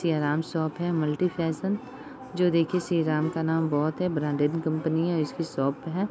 Siyaram shop है multi fashion जो देखिये श्री राम का नाम बहुत है ब्रांडेड कंपनी है इसकी शॉप है।